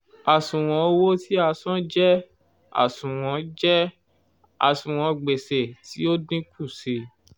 àṣùwọ̀n owó tí a san jẹ́ àṣùwọ̀n jẹ́ àṣùwọ̀n gbèsè tí ó dínkù sí i